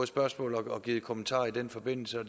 spørgsmål og givet kommentarer i den forbindelse og